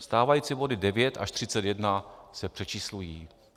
Stávající body 9 až 31 se přečíslují.